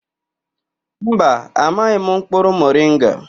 Mba, amaghị m mkpụrụ moringa.